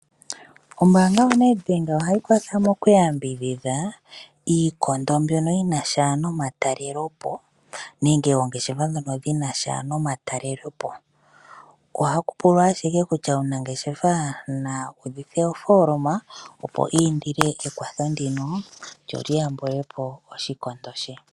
Ombaanga yoNedbank ohayi kwathele mokuyambidhidha iikondo mbyono yinasha nomatalelopo nenge oongeshefa dhono dhinasha nomatalelopo. Ohaku pulwa ashike kutya omunangeshefa na udhithe ofooloma opo iindile ekwatho ndika lyo lyiyambilepo oshikondo she.